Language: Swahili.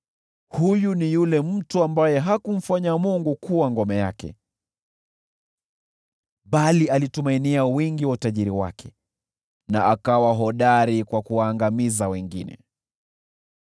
“Huyu ni yule mtu ambaye hakumfanya Mungu kuwa ngome yake, bali alitumainia wingi wa utajiri wake, na akawa hodari kwa kuwaangamiza wengine!”